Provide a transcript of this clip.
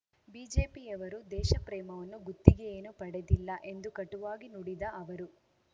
ಬಿಜೆಪಿಯವರು ದೇಶಪ್ರೇಮವನ್ನು ಗುತ್ತಿಗೆಯೇನೂ ಪಡೆದಿಲ್ಲ ಎಂದು ಕಟುವಾಗಿ ನುಡಿದ ಅವರು